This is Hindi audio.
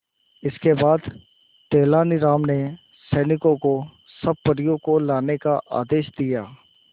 इसके बाद तेलानी राम ने सैनिकों को सब परियों को लाने का आदेश दिया